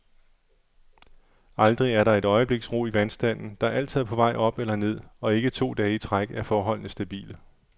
Aldrig er der et øjebliks ro i vandstanden, der altid er på vej op eller ned, og ikke to dage i træk er forholdene stabile.